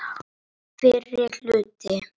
Allir koma þeir frá Gerplu.